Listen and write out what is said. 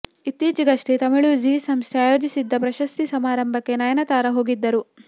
ಇತ್ತೀಚಿಗಷ್ಟೆ Tamil Zee ಸಂಸ್ಥೆ ಆಯೋಜಿಸಿದ್ದ ಪ್ರಶಸ್ತಿ ಸಮಾರಂಭಕ್ಕೆ ನಯನತಾರ ಹೋಗಿದ್ದರು